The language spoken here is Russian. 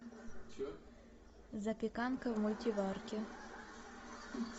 запеканка в мультиварке